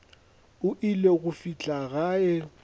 o ile go fihla gae